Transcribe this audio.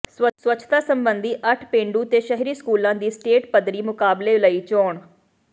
ਸਵੱਛਤਾ ਸਬੰਧੀ ਅੱਠ ਪੇਂਡੂ ਤੇ ਸ਼ਹਿਰੀ ਸਕੂਲਾਂ ਦੀ ਸਟੇਟ ਪੱਧਰੀ ਮੁਕਾਬਲੇ ਲਈ ਚੋਣ